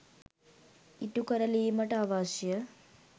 ඉටු කරලීමට අවශ්‍ය